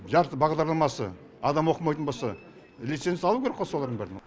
жарты бағдарламасы адам оқымайтын болса лицензия алу керек қой солардың бірін